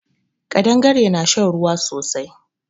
Ƙadangare na shan ruwa sosai